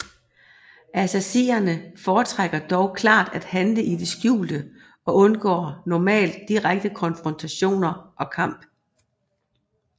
Assassinere foretrækker dog klart at handle i det skjulte og undgår normalt direkte konfrontationer og kamp